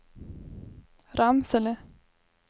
Ramsele